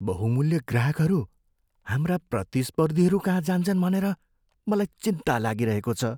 बहुमूल्य ग्राहकहरू हाम्रा प्रतिस्पर्धीहरूकहाँ जान्छन् भनेर मलाई चिन्ता लागिरहेको छ।